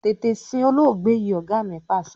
Tètè sin olóògbé yìí! Ọ̀gá mi Pàṣẹ.